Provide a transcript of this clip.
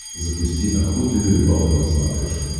запусти охота и рыбалка на смотрешке